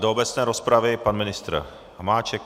Do obecné rozpravy pan ministr Hamáček.